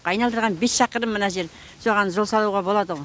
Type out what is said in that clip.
айналдырған бес шақырым мына жер соған жол салуға болады ғой